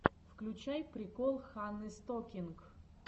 включай прикол ханны стокинг